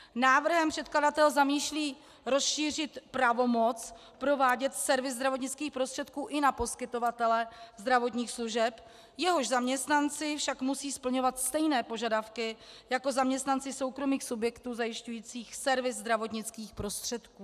Návrhem předkladatel zamýšlí rozšířit pravomoc provádět servis zdravotnických prostředků i na poskytovatele zdravotních služeb, jehož zaměstnanci však musí splňovat stejné požadavky jako zaměstnanci soukromých subjektů zajišťujících servis zdravotnických prostředků.